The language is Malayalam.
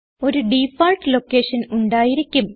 ഒരു ഡിഫാൾട്ട് ലൊക്കേഷൻ ഉണ്ടായിരിക്കും